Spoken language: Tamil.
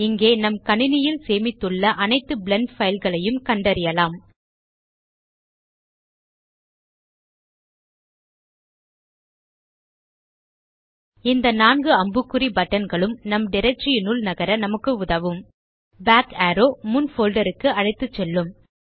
இங்கே நம் கணினியில் சேமித்துள்ள அனைத்து பிளெண்ட் பைல் களையும் கண்டறியலாம் இந்த நான்கு அம்புக்குறி பட்டன் களும் நம் டைரக்டரி யினுள் நகர நமக்கு உதவும் பாக் அரோவ் முன் போல்டர் க்கு அழைத்துசெல்லும்